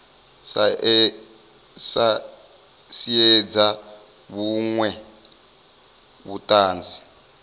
a sa siedze vhuṅwe vhuṱanzi